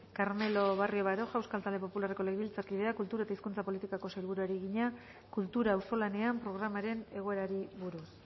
carmelo barrio baroja euskal talde popularreko legebiltzarkideak kultura eta hizkuntza politikako sailburuari egina kultura auzolanean programaren egoerari buruz